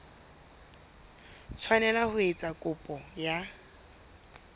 tshwanela ho etsa kopo ya